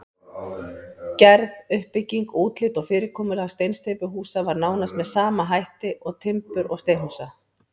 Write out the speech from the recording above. Gerð, uppbygging, útlit og fyrirkomulag steinsteypuhúsa var nánast með sama hætt og timbur- og steinhúsa.